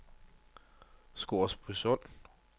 Scoresbysund